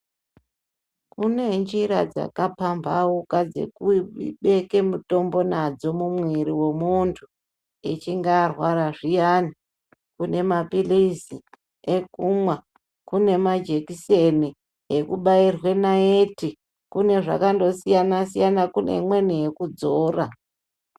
Kune njira dzakapambauka dzekubeke mutombo mumuviri memuntu echinga arwara kune mapilizi ekumwa kune majekiseni akandosiyana siyana kune imweni yekudzora.